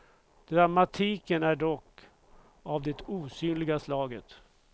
Dramatiken är dock av det osynliga slaget.